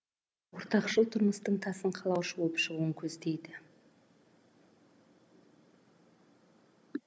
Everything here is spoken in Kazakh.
ортақшыл тұрмыстың тасын қалаушы болып шығуын көздейді